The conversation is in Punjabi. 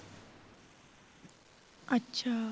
ਅੱਛਾ